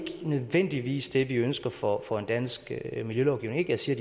nødvendigvis det vi ønsker for for en dansk miljølovgivning jeg siger